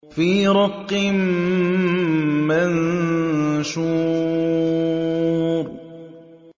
فِي رَقٍّ مَّنشُورٍ